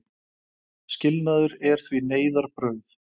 Skilnaður er því neyðarbrauð.